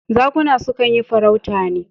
Zakuna su kan yi farauta ne.